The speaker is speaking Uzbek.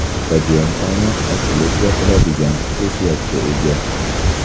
Stadion tomi ochilib-yopiladigan xususiyatga ega.